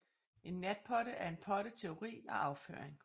En natpotte er en potte til urin og afføring